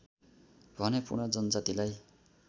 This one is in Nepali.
भने पूर्ण जनजातिलाई